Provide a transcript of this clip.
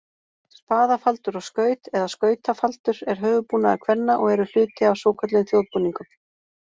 Spaðafaldur og skaut, eða skautafaldur, er höfuðbúnaður kvenna og eru hluti af svokölluðum þjóðbúningum.